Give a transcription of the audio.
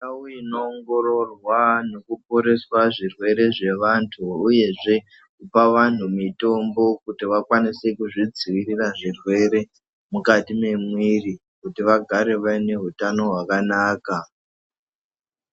Ndau ino ongororwa neku poreswa zvirwere zve vantu uyezve kupa vanhu mitombo kuti vakwanise kuzvi dzivirira zvirwere mukati mwe mwiri kuti vagare vaine hutano hwaka naka.